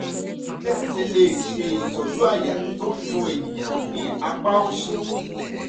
bí a ṣe lè ṣe ìtọ́jú àyà tó n dun ènìyàn ní apá òsì?